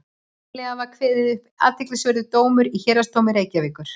nýlega var kveðinn upp athyglisverður dómur í héraðsdómi reykjavíkur